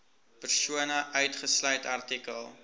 persone uitgesluit artikel